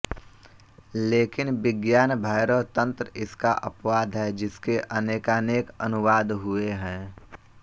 लेकिन विज्ञान भैरव तन्त्र इसका अपवाद है जिसके अनेकानेक अनुवाद हुए हैं